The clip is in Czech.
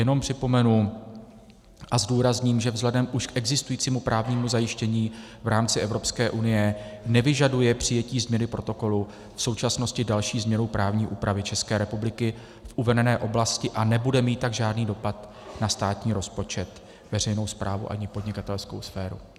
Jenom připomenu a zdůrazním, že vzhledem k už existujícímu právnímu zajištění v rámci Evropské unie nevyžaduje přijetí změny protokolu v současnosti další změnu právní úpravy České republiky v uvedené oblasti a nebude mít tak žádný dopad na státní rozpočet, veřejnou správu ani podnikatelskou sféru.